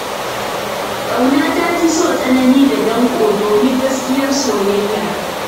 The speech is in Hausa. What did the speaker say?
Ƙauna ta fi so tsanani da danƙo, domin gaskiyar soyayya.